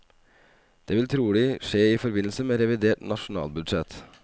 Det vil trolig skje i forbindelse med revidert nasjonalbudsjett.